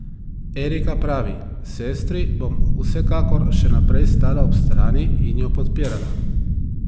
Erika pravi: "Sestri bom vsekakor še naprej stala ob strani in jo podpirala.